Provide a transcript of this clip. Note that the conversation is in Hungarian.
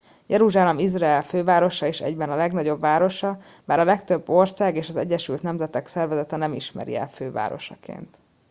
jeruzsálem izrael fővárosa és egyben legnagyobb városa bár a legtöbb ország és az egyesült nemzetek szervezete nem ismeri el fővárosként